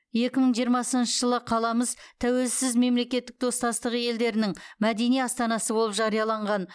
екі мың жиырмасыншы жылы қаламыз тәуелсіз мемлекеттік достастығы елдерінің мәдени астанасы болып жарияланған